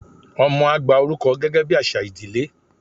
ọmọ a gba oruko gẹgẹ bi aṣa ìdílé